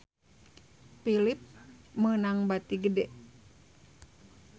Philips meunang bati gede